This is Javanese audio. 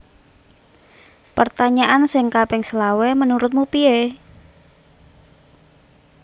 Pertanyaan sing kaping selawe menurutmu pie?